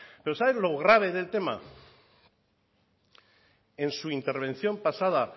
pero sabe lo grave del tema en su intervención pasada